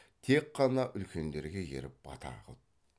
тек қана үлкендерге еріп бата қылып